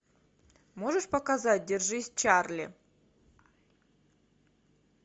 можешь показать держись чарли